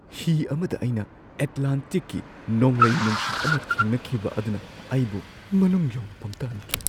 ꯍꯤ ꯑꯃꯗ ꯑꯩꯅ ꯑꯦꯠꯂꯥꯟꯇꯤꯛꯀꯤ ꯅꯣꯡꯂꯩ ꯅꯨꯡꯁꯤꯠ ꯑꯃ ꯊꯦꯡꯅꯈꯤꯕ ꯑꯗꯨꯅ ꯑꯩꯕꯨ ꯃꯅꯨꯡ ꯌꯧꯅ ꯄꯪꯊꯍꯟꯈꯤ꯫